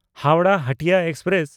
Howrah Hatia express